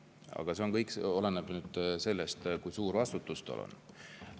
Aga see kõik oleneb sellest, kui suur vastutus on.